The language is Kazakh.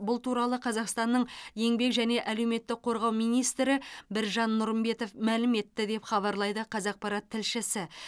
бұл туралы қазақстанның еңбек және әлеуметтік қорғау министрі біржан нұрымбетов мәлім етті деп хабарлайды қазақпарат тілшісі